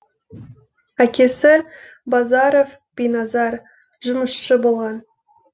әкесі базаров биназар жұмысшы болған